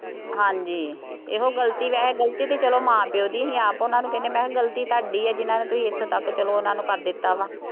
ਹਾਂਜੀ, ਇਹੋ ਗਲਤੀ ਵੈਸੇ ਗਲਤੀ ਸੀ ਚੱਲੋ ਮਾਂ ਪਿਉ ਦੀ ਸੀ, ਆਪ ਉਹਨਾ ਨੂੰ ਕਹਿੰਦੇ ਮੈਂ ਕਿਹਾ ਗਲਤੀ ਤੁਹਾਡੀ ਹੈ ਜਿੰਨਾ ਤੇ ਇੱਥੋਂ ਤੱਕ ਚੱਲੋ ਉਹਨਾ ਕਰ ਦਿੱਤਾ ਵਾ